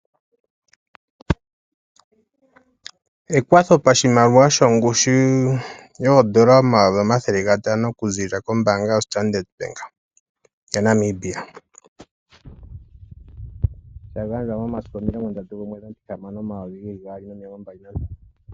Ekwatho pashimaliwa shongushu yooN$ 500 000 okuziilila kombaanga yoStandard Bank yaNamibia. Sha gandjwa momasiku 30 Juni 2025.